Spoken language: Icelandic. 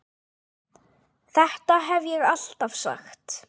Þetta hef ég alltaf sagt!